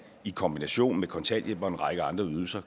i kombinationen af kontanthjælp og en række andre ydelser